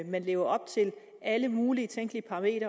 man lever op til alle mulige tænkelige krav i